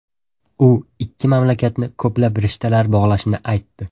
U ikki mamlakatni ko‘plab rishtalar bog‘lashini aytdi.